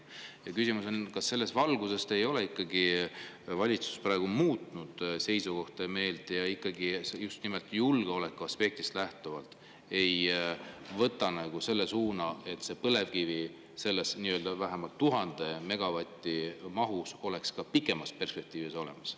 Ja küsimus on, kas selles valguses ei ole ikkagi valitsus seisukohta ja meelt muutnud ja just nimelt julgeoleku aspektist lähtuvalt võtnud suuna, et põlevkivi kasutamine vähemalt 1000 megavati mahus oleks ka pikemas perspektiivis võimalik.